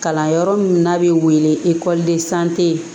Kalanyɔrɔ min n'a bɛ wele